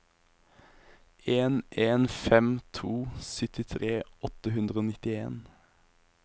en en fem to syttitre åtte hundre og nittien